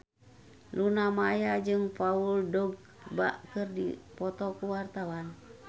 Luna Maya jeung Paul Dogba keur dipoto ku wartawan